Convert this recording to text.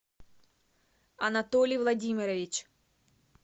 анатолий владимирович